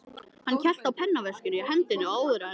Hann hélt á pennaveskinu í hendinni og áður en